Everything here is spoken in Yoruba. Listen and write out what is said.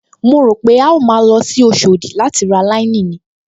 Mo rò pé a ó máa lọ sí Oṣòdì láti ra láíníìnì